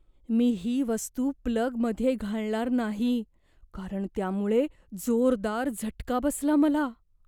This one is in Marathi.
मी ही वस्तू प्लगमध्ये घालणार नाही कारण त्यामुळे जोरदार झटका बसला मला.